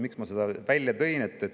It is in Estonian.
Miks ma selle välja tõin?